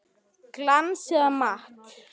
Glans eða matt?